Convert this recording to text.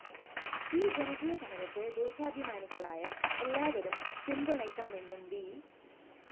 ഈ ജനകീയസമരത്തെ ദേശാഭിമാനികളായ എല്ലാവരും പിന്തുണയ്ക്കണമെന്നും വി